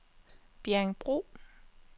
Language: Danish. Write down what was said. Bjerringbro